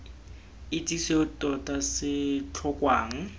itse seo tota se tlhokwang